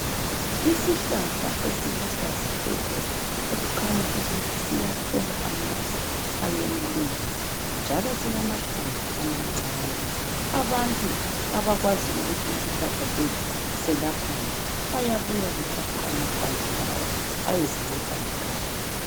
Isihlahla esiluhlaza tshoko okukhanya ukuthi siyathola amanzi ayeneleyo njalo silamahlamvu amancane abantu abakwazi ukuthi isihlahla silaphani bayabuya bethathe amahlamvu beyezinceda emakhaya.